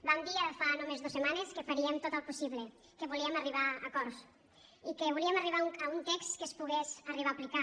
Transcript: vam dir ara fa només dos setmanes que faríem tot el possible que volíem arribar a acords i que volíem arribar a un text que es pogués arribar a aplicar